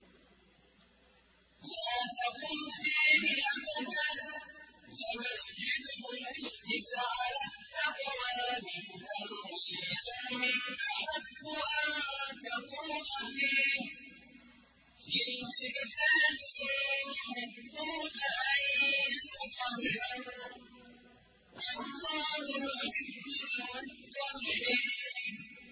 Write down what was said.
لَا تَقُمْ فِيهِ أَبَدًا ۚ لَّمَسْجِدٌ أُسِّسَ عَلَى التَّقْوَىٰ مِنْ أَوَّلِ يَوْمٍ أَحَقُّ أَن تَقُومَ فِيهِ ۚ فِيهِ رِجَالٌ يُحِبُّونَ أَن يَتَطَهَّرُوا ۚ وَاللَّهُ يُحِبُّ الْمُطَّهِّرِينَ